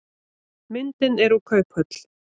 Myndin er úr kauphöll.